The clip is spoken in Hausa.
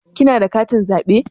Kina da katin zaɓe?